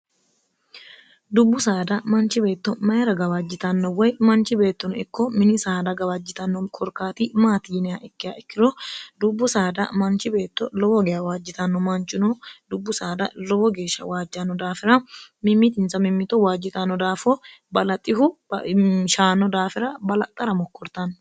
dubbu saada manchi beetto mayira gawaajjitanno woy manchi beettono ikko mini saada gawaajjitanno korkaati maati yiniha ikki ikkiro dubbu saada manchi beetto lowo gawaajjitanno manchino dubbu saada lowo geeshsha waajjanno daafira mimitinsa mimimito waajjitanno daafo balaxihu shaano daafira balaxxara mokkortanno.